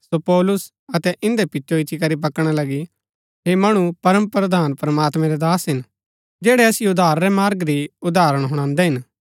सो पौलुस अतै इन्दै पिचो इच्ची करी बकणा लगी ऐह मणु परमप्रधान प्रमात्मैं रै दास हिन जैड़ै असिओ उद्धार रै मार्ग री उदाहरण हुणादै हिन